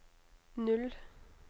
null